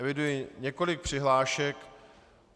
Eviduji několik přihlášek.